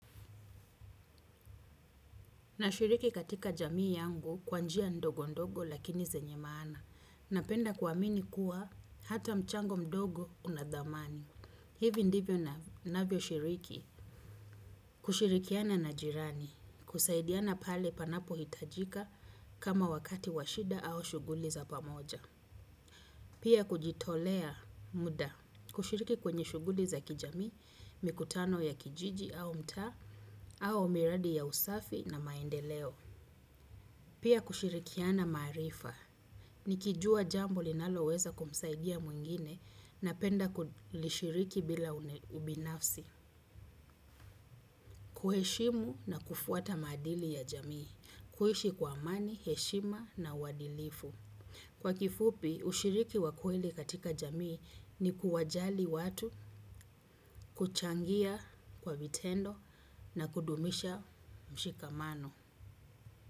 Nashiriki katika jamii yangu kwa njia ndogo ndogo lakini zenye maana. Napenda kuamini kuwa hata mchango mdogo una dhamani. Hivi ndivyo ninavyo shiriki. Kushirikiana na jirani. Kusaidiana pale panapohitajika kama wakato wa shida au shughuli za pamoja. Pia kujitolea muda. Kushiriki kwenye shughuli za kijamii mikutano ua kijiji au mtaa au miradi ya usafi na maendeleo. Pia kushirikiana maarifa. Nikijua jambo linalo weza kumsaidia mwingine napenda kulishiriki bila ubinafsi. Kuheshimu na kufuata maadili ya jamii. Kuishi kwa amani, heshima na uadilifu. Kwa kifupi ushiriki wa kweli katika jamii ni kuwajali watu.